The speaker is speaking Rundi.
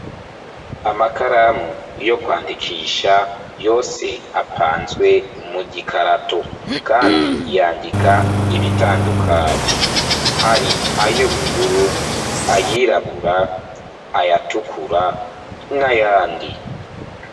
Amakaramu, yo kwandikisha, yose apanzwe mu gikarato; kandi yandika ibitandukanye, hari ay'ubururu, ayirabura ayatukura, n'ayandi.